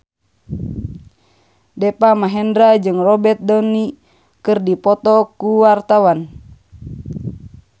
Deva Mahendra jeung Robert Downey keur dipoto ku wartawan